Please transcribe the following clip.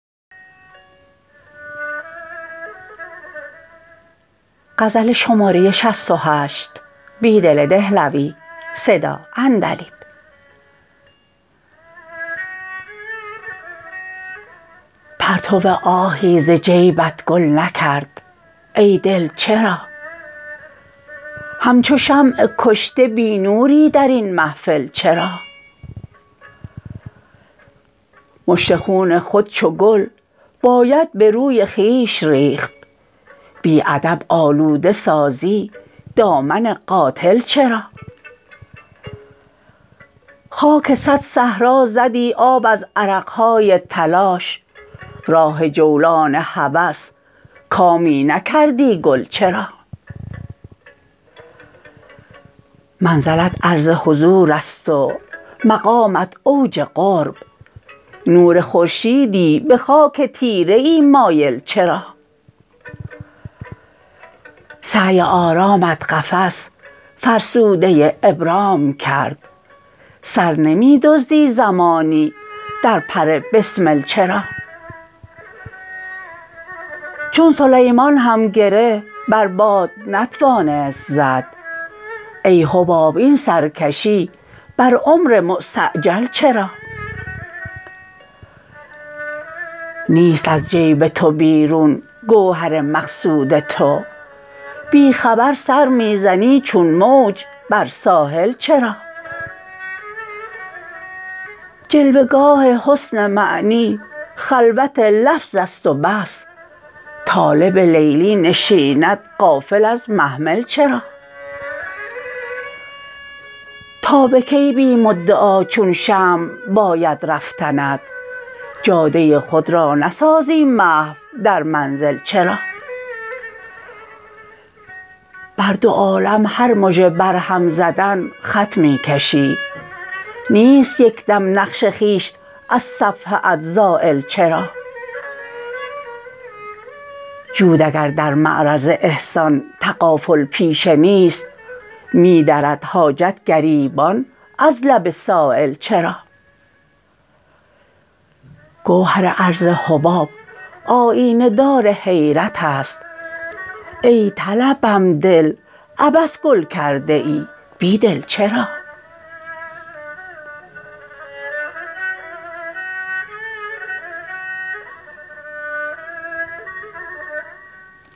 پرتو آهی ز جیبت گل نکرد ای دل چرا همچو شمع کشته بی نوری درین محفل چرا مشت خون خود چوگل باید به روی خویش ریخت بی ادب آلوده سازی دامن قاتل چرا خاک صد صحرا زدی آب از عرقهای تلاش راه جولان هوس کامی نکردی گل چرا منزلت عرض حضوراست ومقامت اوج قرب نور خورشیدی به خاک تیره ای مایل چرا سعی آرامت قفس فرسودة ابرام کرد سر نمی دزدی زمانی در پر بسمل چرا چون سلیمان هم گره بر باد نتوانست زد ای حباب این سرکشی بر عمر مستعجل چرا نیست از جیب تو بیرون گوهر مقصود تو بی خبر سر می زنی چون موج بر ساحل چرا جلوه گاه حسن معنی خلوت لفظ است و بس طالب لیلی نشیند غافل ازمحمل چرا تا به کی بی مدعا چون شمع باید رفتنت جاده خود را نسازی محو در منزل چرا بر دو عالم هر مژه برهم زدن خط می کشی نیست یک دم نقش خویش از صفحه ات زایل چرا جود اگر در معرض احسان تغافل پیشه نیست می درد حاجت گریبان از لب سایل چرا گوهر عرض حباب آیینه دار حیرت است ای طلسم دل عبث گل کرده ای بیدل چرا